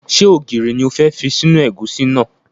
Ṣé ògiri ni o fẹ́ fi sínú ẹ̀gúsí náà?